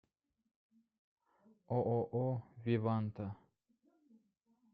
ооо веванта